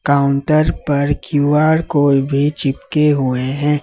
Counter पर Q R code भी चिपके हुए हैं।